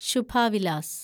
Shubha Vilas